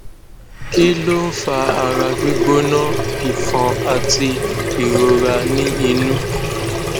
kí ló ń fa ara gbigbona ifon àti ìrora ni inú